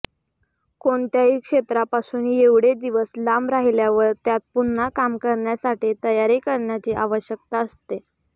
कोणत्याही क्षेत्रापासून एवढे दिवस लांब राहिल्यावर त्यात पुन्हा काम करण्यासाठी तयारी करण्याची आवश्यकता असते